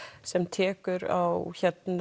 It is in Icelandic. sem tekur á